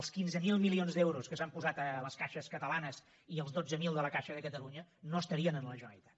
els quinze mil milions d’euros que s’han posat a les caixes catalanes i els dotze mil de la caixa de catalunya no estarien a la generalitat